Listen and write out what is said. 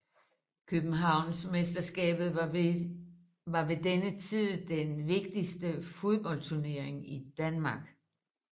Københavnsmesterskabet var ved denne tid den vigtigste fodboldsturnering i Danmark